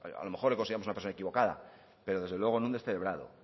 a lo mejor le consideramos una persona equivocada pero desde luego no un descerebrado